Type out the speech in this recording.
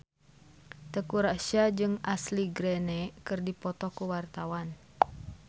Teuku Rassya jeung Ashley Greene keur dipoto ku wartawan